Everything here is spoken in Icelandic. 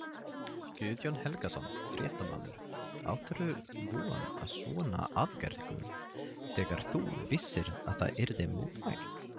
Guðjón Helgason, fréttamaður: Áttirðu von á svona aðgerðum þegar þú vissir að það yrði mótmælt?